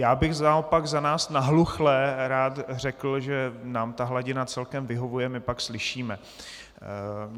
Já bych naopak za nás nahluchlé rád řekl, že nám ta hladina celkem vyhovuje, my pak slyšíme.